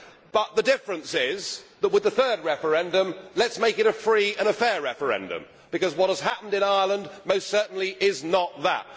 but the difference is that with a third referendum, let's make it a free and a fair referendum. Because what has happened in Ireland most certainly is not that!